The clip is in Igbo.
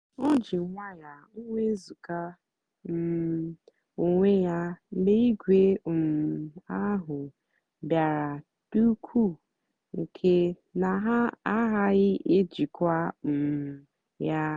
o jì nwayọ́ọ́ nwézugà um onwé ya mgbe ìgwè um ahụ́ bìàra dị́ ùkwuù nkè na ha àgàghị́ èjìkwa um ya.